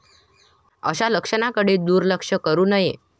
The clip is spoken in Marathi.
अशा लक्षणांकडे दुर्लक्ष करू नये.